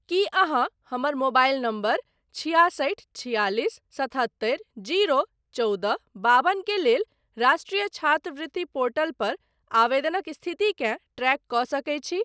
की अहाँ हमर mobile number छिआसठि छियालिस सतहत्तरि जीरो चौदह बाबन के लेल राष्ट्रिय छात्रवृति पोर्टल पर आवेदनक स्थितिकेँ ट्रैक कऽ सकैत छी ?